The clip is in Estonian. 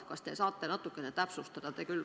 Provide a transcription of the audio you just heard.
Kas te saate natukene täpsustada?